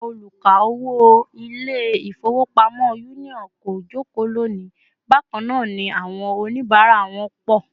Àwọn oluka-owo Ilé-ifowopamo Union kò joko loni, bakana ni àwọn onibara wọn pọ̀